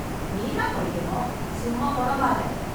நீ தான் படிக்கணும். சும்மா புலம்பாத.